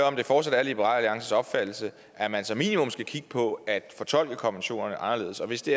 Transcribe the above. om det fortsat er liberal alliances opfattelse at man som minimum skal kigge på at fortolke konventionerne anderledes og hvis det